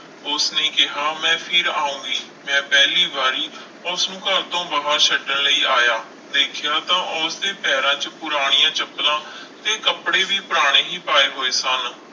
ਉਸਨੇ ਕਿਹਾ ਮੈਂ ਫਿਰ ਆਊਂਗੀ, ਮੈਂ ਪਹਿਲੀ ਵਾਰੀ ਉਸਨੂੰ ਘਰ ਤੋਂ ਬਾਹਰ ਛੱਡਣ ਲਈ ਆਇਆ, ਦੇਖਿਆ ਤਾਂ ਉਸਦੇ ਪੈਰਾਂ 'ਚ ਪੁਰਾਣੀਆਂ ਚੱਪਲਾਂ ਤੇ ਕੱਪੜੇ ਵੀ ਪੁਰਾਣੇ ਹੀ ਪਾਏ ਹੋਏ ਸਨ।